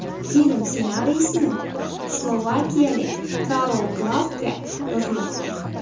Film ssenariysini slovakiyalik Karol Glavka yozmoqda.